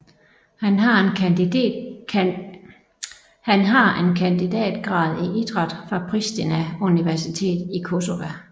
Han har en kandidatgrad i idræt fra Prishtina universitet i Kosova